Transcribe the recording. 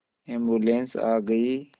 ambulance आ गई